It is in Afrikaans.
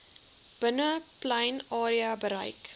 binneplein area bereik